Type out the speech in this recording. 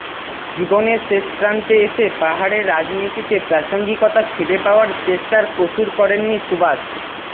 জীবনের শেষ প্রান্তে এসে পাহাড়ের রাজনীতিতে প্রাসঙ্গিকতা ফিরে পাওয়ার চেষ্টার কসুর করেননি সুবাস